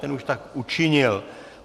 Ten už tak učinil.